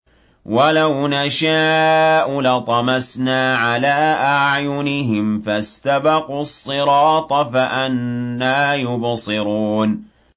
وَلَوْ نَشَاءُ لَطَمَسْنَا عَلَىٰ أَعْيُنِهِمْ فَاسْتَبَقُوا الصِّرَاطَ فَأَنَّىٰ يُبْصِرُونَ